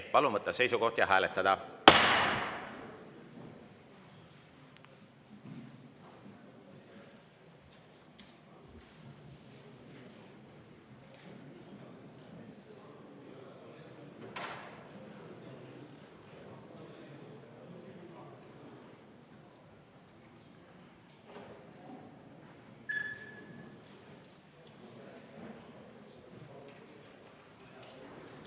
Palun võtta seisukoht ja hääletada!